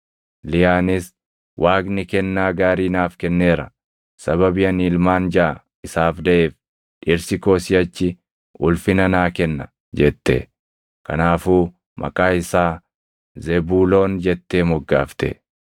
Liyaanis, “Waaqni kennaa gaarii naaf kenneera; sababii ani ilmaan jaʼa isaaf daʼeef dhirsi koo siʼachi ulfina naa kenna” jette. Kanaafuu maqaa isaa Zebuuloon jettee moggaafte.